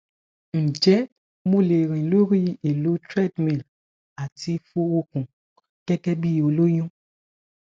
njẹ́ mo le rin lori elo trdmil ati fo okun gẹgẹ bi oloyun